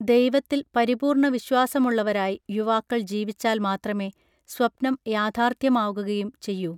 ദൈവത്തിൽ പരിപൂർണ വിശ്വാസമുള്ളവരായി യുവാക്കൾ ജീവിച്ചാൽ മാത്രമേ സ്വപ്നം യാഥാർഥ്യമാകുകയും ചെയ്യൂ